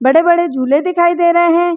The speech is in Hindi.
बड़े-बड़े झूले दिखाई दे रहे हैं।